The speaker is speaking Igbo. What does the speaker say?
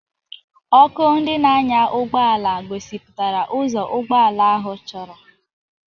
Ọkụ ndị na-anya ụgbọ ala gosipụtara ụzọ ụgbọ ala ahụ chọrọ.